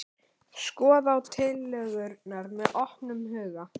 Skoða á tillögurnar með opnum huga